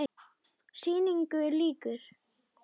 Sýningu lýkur.